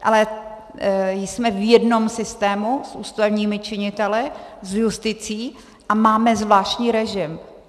Ale jsme v jednom systému s ústavními činiteli, s justicí a máme zvláštní režim.